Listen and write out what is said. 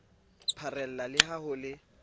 pharela le ha ho le